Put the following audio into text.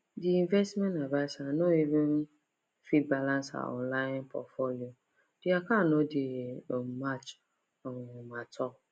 the investment adviser no even fit balance her online portfolio the account no dey um match um at all